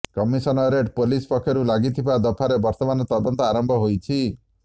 commissionerate police ପକ୍ଷରୁ ଲାଗିଥିବା ଦଫାରେ ବର୍ତ୍ତମାନ ତଦନ୍ତ ଆରମ୍ଭ ହୋଇଛି